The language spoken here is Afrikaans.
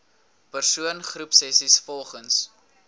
persoon groepsessies volgens